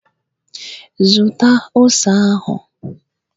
Zụta ose ahụ!